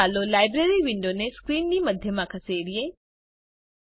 પ્રથમ ચાલો લાઇબ્રેરી વિન્ડોને સ્ક્રીનની મધ્યમાં ખસેડીએ